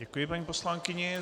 Děkuji paní poslankyni.